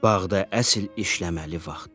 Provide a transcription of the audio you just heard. Bağda əsil işləməli vaxtıdır.